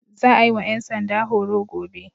Za a yi wa 'yan sanda horo gobe.